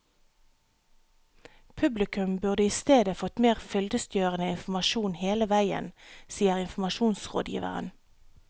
Publikum burde isteden fått mer fyldestgjørende informasjon hele veien, sier informasjonsrådgiveren.